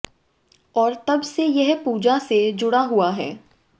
और तब से यह पूजा से जुड़ा हुआ है